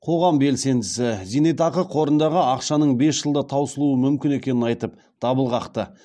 қоғам белсендісі зейнетақы қорындағы ақшаның бес жылда таусылуы мүмкін екенін айтып дабыл қақты